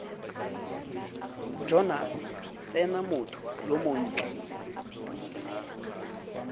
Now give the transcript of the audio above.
jonase tsena motho yo montle